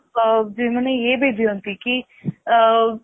ମାନେ ଇଏ ବି ଦିଅନ୍ତି କି ଅ